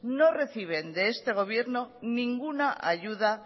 no reciben de este gobierno ninguna ayuda